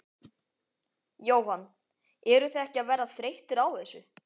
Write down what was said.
Jóhann: Eruð þið ekki að verða þreyttir á þessu?